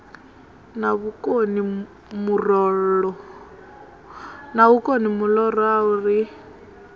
na vhukono muloro a ri